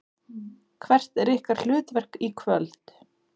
Hvert er ykkar hlutverk í kvöld?